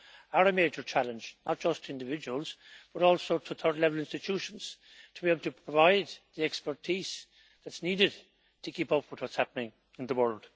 are a major challenge, not just to individuals, but also to third level institutions, to be able to provide the expertise that is needed to keep up with what is happening in the world.